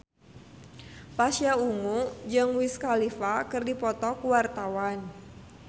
Pasha Ungu jeung Wiz Khalifa keur dipoto ku wartawan